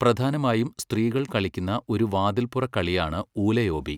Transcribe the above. പ്രധാനമായും സ്ത്രീകൾ കളിക്കുന്ന ഒരു വാതിൽപ്പുറക്കളിയാണ് ഊലയോബി.